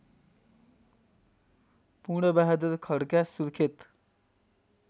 Purnabahadur Khadka Surkhet